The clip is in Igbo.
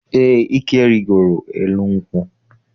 Eé, Ike rigoro elu nkwụ.